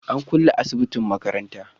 an kulle asibitin makaranta